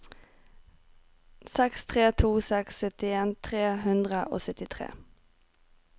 seks tre to seks syttien tre hundre og syttitre